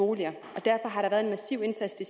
boliger og derfor har der været en massiv indsats i